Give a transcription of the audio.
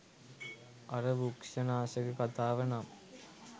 අර වෘක්ෂනාශක කතාව නම්